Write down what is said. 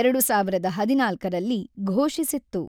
ಎರಡು ಸಾವಿರದ ಹದಿನಾಲ್ಕರಲ್ಲಿ ಘೋಷಿಸಿತ್ತು.